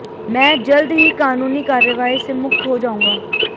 मैं जल्द ही कानूनी कार्यवाही से मुक्त हो जाऊंगा